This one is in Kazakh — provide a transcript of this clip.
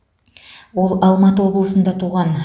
ол алматы облысында туған